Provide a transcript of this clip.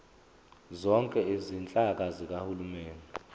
zonke izinhlaka zikahulumeni